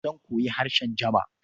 Zan koyi harshen Jaba.